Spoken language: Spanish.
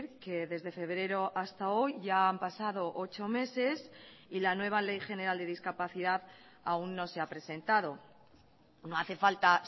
que desde febrero hasta hoy ya han pasado ocho meses y la nueva ley general de discapacidad aún no se ha presentado no hace falta